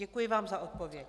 Děkuji vám za odpověď.